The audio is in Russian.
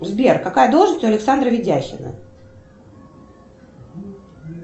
сбер какая должность у александра видяхина